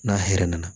N'a hɛrɛ nana